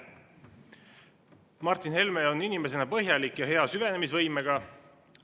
Martin Helme on inimesena põhjalik ja hea süvenemisvõimega.